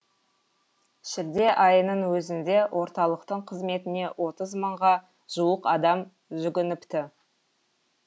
шілде айының өзінде орталықтың қызметіне отыз мыңға жуық адам жүгініпті